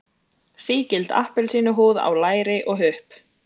Sígild appelsínuhúð á læri og hupp.